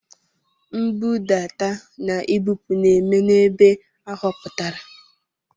Nbudata na ibupu na-eme n'ebe a họpụtara.